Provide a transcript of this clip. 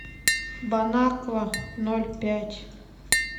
бон аква ноль пять